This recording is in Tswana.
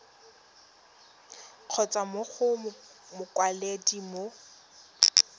kgotsa mo go mokwaledi mo